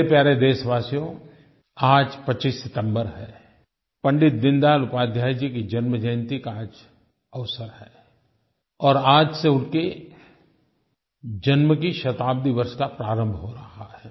मेरे प्यारे देशवासियो आज 25 सितम्बर है पंडित दीनदयाल उपध्याय जी की जन्म जयंती का आज अवसर है और आज से उनके जन्म के शताब्दी वर्ष का प्रारंभ हो रहा है